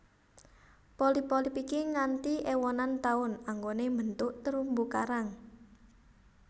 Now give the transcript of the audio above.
Polip polip iki nganti ewonan taun anggone mbentuk terumbu karang